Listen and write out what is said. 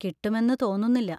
കിട്ടുമെന്ന് തോന്നുന്നില്ല.